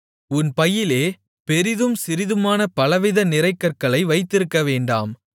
உன் பையிலே பெரிதும் சிறிதுமான பலவித நிறைகற்களை வைத்திருக்கவேண்டாம்